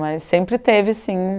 Mas sempre teve, sim,